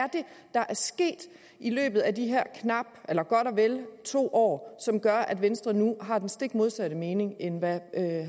der er sket i løbet af de her godt og vel to år som gør at venstre nu har den stik modsatte mening end hvad